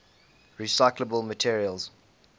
recyclable materials